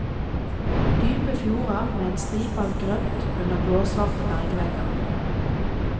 Dype fjorder med en stripe av grønt under blåsvarte bergvegger.